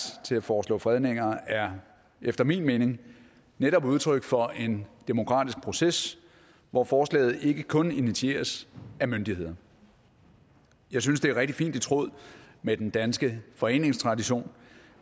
til at foreslå fredninger er efter min mening netop udtryk for en demokratisk proces hvor forslaget ikke kun initieres af myndighederne jeg synes det er rigtig fint i tråd med den danske foreningstradition